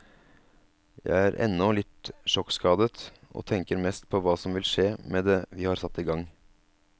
Jeg er ennå litt sjokkskadet, og tenker mest på hva som vil skje med det vi har satt i gang.